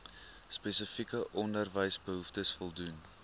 spesifieke onderwysbehoeftes voldoen